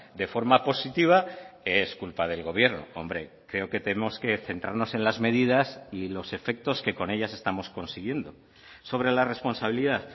de forma positiva es culpa del gobierno hombre creo que tenemos que centrarnos en las medidas y los efectos que con ellas estamos consiguiendo sobre la responsabilidad